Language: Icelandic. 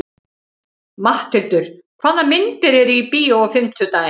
Matthildur, hvaða myndir eru í bíó á fimmtudaginn?